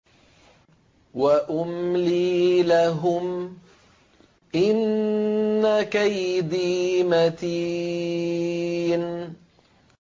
وَأُمْلِي لَهُمْ ۚ إِنَّ كَيْدِي مَتِينٌ